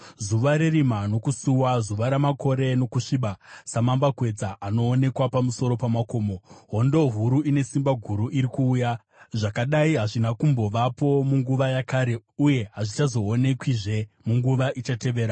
zuva rerima nokusuwa, zuva ramakore nokusviba. Samambakwedza anoonekwa pamusoro pamakomo, hondo huru ine simba guru iri kuuya; zvakadai hazvina kutombovapo munguva yakare, uye hazvichazoonekwizve munguva ichatevera.